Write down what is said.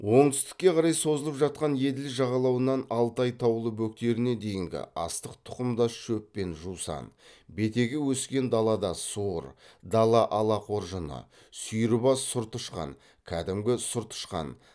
оңтүстікке қарай созылып жатқан еділ жағалауынан алтай таулы бөктеріне дейінгі астық тұқымдас шөп пен жусан бетеге өскен далада суыр дала алақоржыны сүйірбас сұр тышқан кәдімгі сұр тышқан